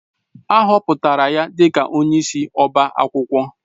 A họpụtara ya onyeisi ọbá akwụkwọ